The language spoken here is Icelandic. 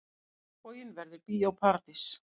Regnboginn verður Bíó Paradís